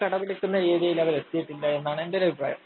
കടപിടിക്കുന്ന രീതിയില്‍ അവരെത്തിയിട്ടില്ല എന്നാണ് എന്‍റെ ഒരഭിപ്രായം.